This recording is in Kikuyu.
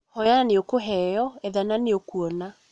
Hoya na nĩ ũkũheo, etha na nĩ ũkuona.